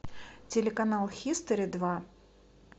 телеканал хистори два